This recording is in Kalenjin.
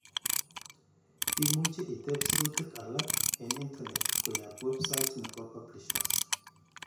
Imuche itep sirutik alak en internet koyoap website nepo publishers.